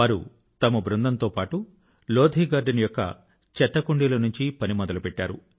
వారు తమ బృందం తో పాటు లోథీ గార్డెన్ యొక్క చెత్తకుండీల నుంచి పని మొదలు పెట్టారు